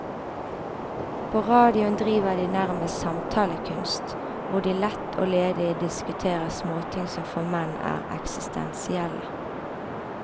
På radioen driver de nærmest samtalekunst, hvor de lett og ledig diskuterer småting som for menn er eksistensielle.